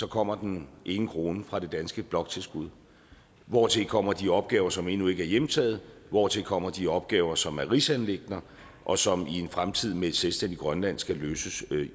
kommer den ene krone fra det danske bloktilskud hvortil kommer de opgaver som endnu ikke er hjemtaget og hvortil kommer de opgaver som er rigsanliggender og som i en fremtid med et selvstændigt grønland skal løses